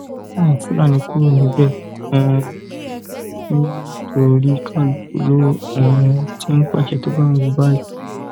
káwọn Fulani kúrò níbẹ um ni ò torí kálukú ló um ti ń pàṣẹ tó bá wù ú báyìí